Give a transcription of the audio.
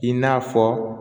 I n'a fɔ